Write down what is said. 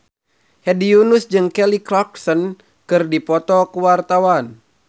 Hedi Yunus jeung Kelly Clarkson keur dipoto ku wartawan